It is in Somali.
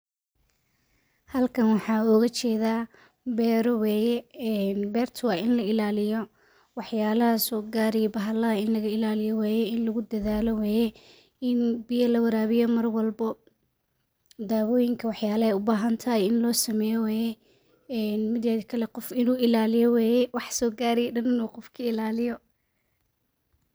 Halkan waxaa ooga jeeda beera waye waa in la ilaaliyo in lagu dadaalo waye in la warabiyo waye in la ilaaliyo waye waxa soo gaarayo gudi in laga qofka ka ilaaliyo.